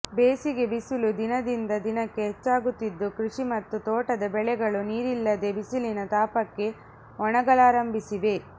ಬೇಸಿಗೆ ಬಿಸಿಲು ದಿನದಿಂದ ದಿನಕ್ಕೆ ಹೆಚ್ಚಾಗುತ್ತಿದ್ದು ಕೃಷಿ ಮತ್ತು ತೋಟದ ಬೆಳೆಗಳು ನೀರಿಲ್ಲದೆ ಬಿಸಿಲಿನ ತಾಪಕ್ಕೆ ಒಣಗಲಾರಂಭಿಸಿವೆ